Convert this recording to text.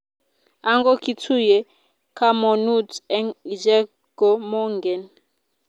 ango kitunye kamonut eng icheek ko mongen